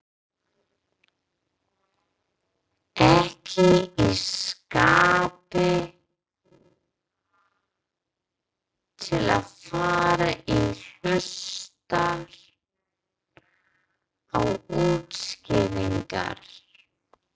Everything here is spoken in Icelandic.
Ekki í skapi til að fara að hlusta á útskýringar.